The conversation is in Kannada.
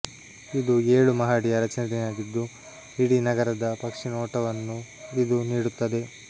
ಇದು ಏಳು ಮಹಡಿಯ ರಚನೆಯಾಗಿದ್ದು ಇಡೀ ನಗರದ ಪಕ್ಷಿನೋಟವನ್ನು ಇದು ನೀಡುತ್ತದೆ